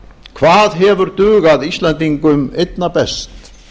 hvað hefur dugað íslendingum einna best